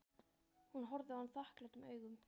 Hún horfði á hann þakklátum augum.